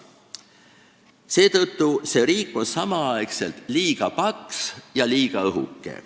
Seetõttu on see riik samal ajal liiga paks ja liiga õhuke.